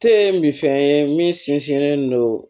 Te min fɛn ye min sinsinnen don